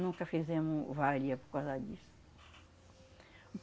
Nunca fizemos varia por causa disso.